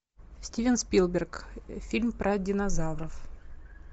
стивен спилберг фильм про динозавров